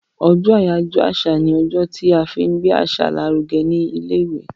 ojó ajoyọ àṣà ní ojó tí a fín gbé àṣà l'aruge ní ilé ìwé.